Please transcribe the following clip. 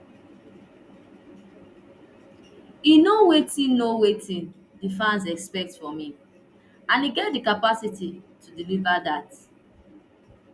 e know wetin know wetin di fans expect from im and e get di capacity to deliver dat